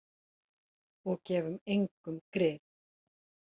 Og gefum engum grið.